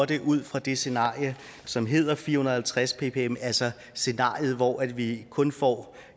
det ud fra det scenarie som hedder fire hundrede og halvtreds ppm altså scenariet hvor vi kun får